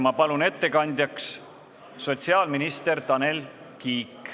Ma palun ettekandeks kõnepulti sotsiaalminister Tanel Kiige.